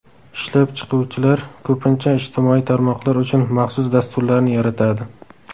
Ishlab chiquvchilar ko‘pincha ijtimoiy tarmoqlar uchun maxsus dasturlarni yaratadi.